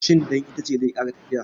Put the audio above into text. Cin ɗan itace zai ƙara lafiya